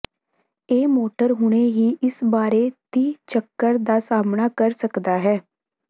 ਇਹ ਮੋਟਰ ਹੁਣੇ ਹੀ ਇਸ ਬਾਰੇ ਤੀਹ ਚੱਕਰ ਦਾ ਸਾਮ੍ਹਣਾ ਕਰ ਸਕਦਾ ਹੈ